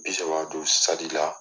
Bi saba don la.